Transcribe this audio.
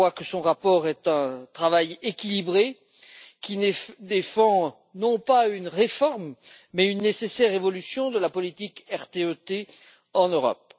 Je crois que son rapport est un travail équilibré qui défend non pas une réforme mais une nécessaire évolution de la politique RTE T en Europe.